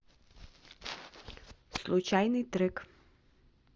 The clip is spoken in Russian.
случайный трек